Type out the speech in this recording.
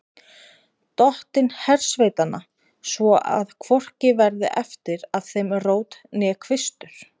Dottinn hersveitanna, svo að hvorki verði eftir af þeim rót né kvistur.